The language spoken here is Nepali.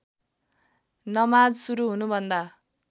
नमाज सुरु हुनुभन्दा